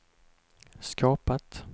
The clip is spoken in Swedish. skapat